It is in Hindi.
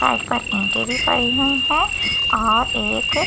पर ईटें भी पड़ी हुई हैं और एक पाइ--